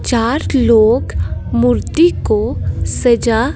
चार लोग मूर्ति को सजा--